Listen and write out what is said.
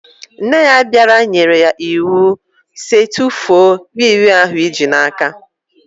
Nne ya bara ya nyere ya iwu sị "tụfuo wii wii ahụ i ji n'aka!"